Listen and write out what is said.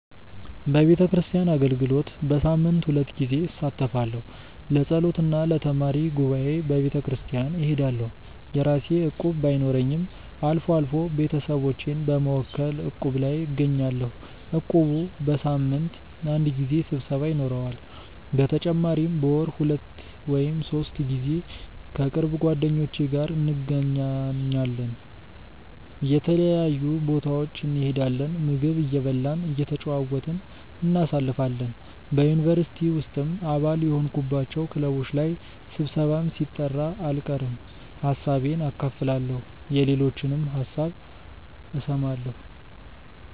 በቤተክርስቲያን አገልግሎት በሳምንት ሁለት ጊዜ እሳተፋለሁ። ለጸሎት እና ለተማሪ ጉባኤ በቤተክርስቲያን እሄዳለሁ። የራሴ እቁብ ባይኖረኝም አልፎ አልፎ ቤተሰቦቼን በመወከል እቁብ ላይ እገኛለሁ። እቁቡ በሳምንት አንድ ጊዜ ስብሰባ ይኖረዋል። በተጨማሪም በወር ሁለት ወይም ሶስት ጊዜ ከቅርብ ጓደኞቼ ጋር እንገናኛለን። የተለያዩ ቦታዎች እንሄዳለን፣ ምግብ እየበላን እየተጨዋወትን እናሳልፋለን። በ ዩኒቨርሲቲ ውስጥም አባል የሆንኩባቸው ክለቦች ላይ ስብሰባም ሲጠራ አልቀርም። ሀሳቤን አካፍላለሁ የሌሎችንም ሀሳብ እሰማለሁ።